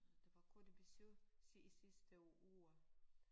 Det var kort besøg i sidste uge